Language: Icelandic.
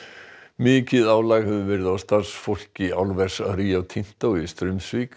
mikið álag hefur verið á starfsfólki álvers Rio Tinto í Straumsvík